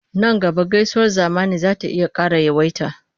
Nan gaba gaisuwar zamani za ta iya ƙara yawaita.